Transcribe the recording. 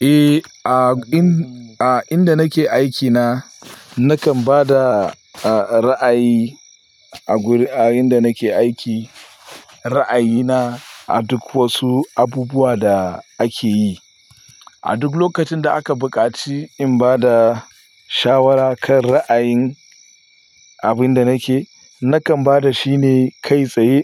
Eh, a ind-a inda nake aikina nakan ba da, a, ra'ayi a wurin a inda nake aiki. Ra'ayina a duk wasu abubuwa da ake yi. A duk lokacin da aka buƙaci in ba da shawara kan ra'ayin abin da nake, nakan ba da shi ne kai tsaye